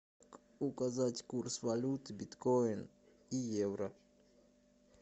указать курс валют биткоин и евро